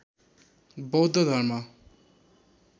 बौद्ध धर्म